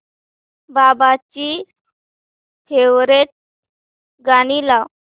बाबांची फेवरिट गाणी लाव